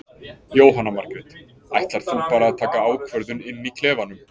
Jóhanna Margrét: Ætlar þú bara að taka ákvörðun inn í klefanum?